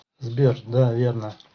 сбер да верно